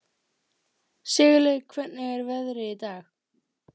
Sigurlaug, hvernig er veðrið í dag?